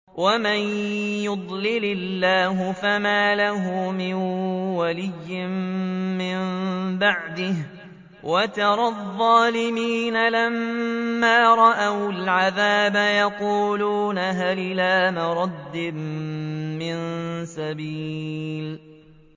وَمَن يُضْلِلِ اللَّهُ فَمَا لَهُ مِن وَلِيٍّ مِّن بَعْدِهِ ۗ وَتَرَى الظَّالِمِينَ لَمَّا رَأَوُا الْعَذَابَ يَقُولُونَ هَلْ إِلَىٰ مَرَدٍّ مِّن سَبِيلٍ